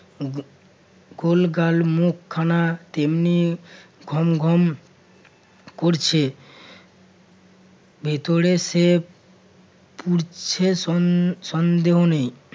গোলগাল মুখখানা তেমনি ঘম ঘম করছে। ভিতরে সে পুরছে সন~ সন্দেহ নেই